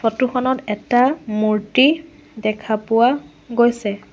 Photo খনত এটা মূৰ্তি দেখা পোৱা গৈছে।